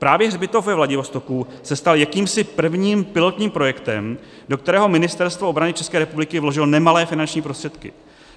Právě hřbitov ve Vladivostoku se stal jakýmsi prvním pilotním projektem, do kterého Ministerstvo obrany České republiky vložilo nemalé finanční prostředky.